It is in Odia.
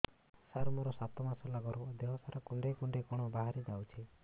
ସାର ମୋର ସାତ ମାସ ହେଲା ଗର୍ଭ ଦେହ ସାରା କୁଂଡେଇ କୁଂଡେଇ କଣ ବାହାରି ଯାଉଛି